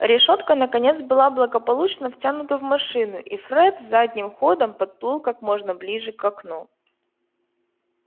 решётка наконец была благополучно втянута в машину и фред задним ходом подплыл как можно ближе к окну